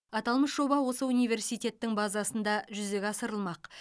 аталмыш жоба осы университеттің базасында жүзеге асырылмақ